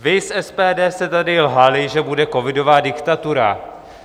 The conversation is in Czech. Vy z SPD jste tady lhali, že bude covidová diktatura.